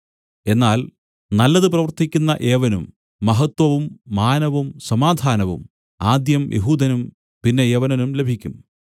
എന്നാൽ നല്ലത് പ്രവർത്തിക്കുന്ന ഏവനും മഹത്വവും മാനവും സമാധാനവും ആദ്യം യെഹൂദനും പിന്നെ യവനനും ലഭിക്കും